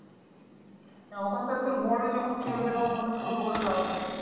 না ওখানটা তোর বড় যখন চলবে তখন ওখানটা ছোট করে লাভ নেই।